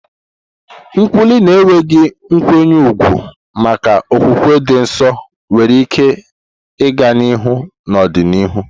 Nkwulu na enweghị nkwanye ùgwù maka okwukwe dị nsọ nwere ike ịga n'ihu n'ọdịnihu.